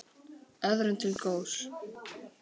Öðrum til góðs.